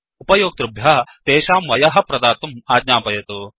उपयोक्ट्रुभ्यः तेषां वयः प्रदातुम् आज्ञापयतु